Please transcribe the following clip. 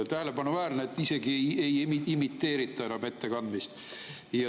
Tähelepanuväärne on see, et isegi ei imiteerita enam ettekandmist.